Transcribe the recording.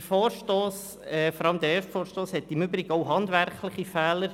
Der Vorstoss, vor allem der erste, hat im Übrigen auch handwerkliche Fehler.